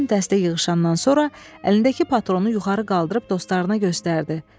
Bütün dəstə yığışandan sonra əlindəki patronu yuxarı qaldırıb dostlarına göstərdi.